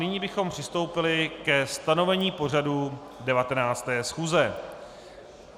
Nyní bychom přistoupili ke stanovení pořadu 19. schůze.